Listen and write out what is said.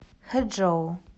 хэчжоу